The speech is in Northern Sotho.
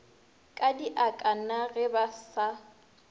kadiaka na ge ba sa